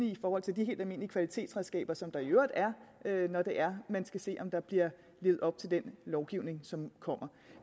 i forhold til de helt almindelige kvalitetsredskaber som der i øvrigt er når man skal se om der bliver levet op til den lovgivning som kommer